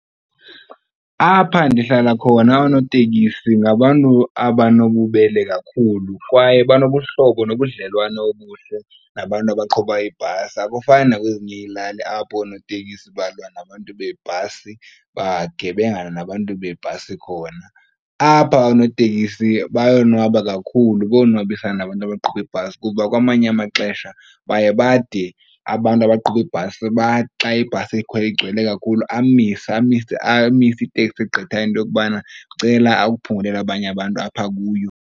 Apha ndihlala khona oonotekisi ngabantu abanobubele kakhulu kwaye banobuhlobo nobudlelwane obuhle nabantu abaqhuba iibhasi, akufani nakwezinye ilali apho oonotekisi balwa nabantu beebhasi, bagebengane nabantu beebhasi khona. Apha oonotekisi bayonwaba kakhulu, bayonwabisana nabantu abaqhuba iibhasi kuba kwamanye amaxesha baye bade abantu abaqhuba iibhasi bathi xa ibhasi igcwele kakhulu amise iteksi egqithayo into yokubana ndicela akuphungulela abanye abantu apha kuyo.